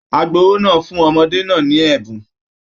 Agbowó náà fún ọmọdé náà ní ẹbùn